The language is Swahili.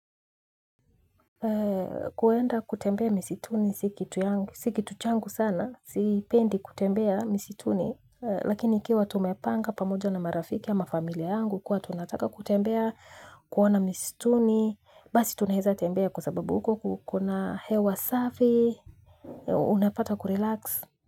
Kuenda kutembea misituni si kitu changu sana sipendi kutembea misituni lakini ikiwa tumepanga pamoja na marafiki ama familia yangu kuwa tunataka kutembea kuona misituni basi tunaeza tembea kwa sababu huko kuko na hewa safi unapata kurelax.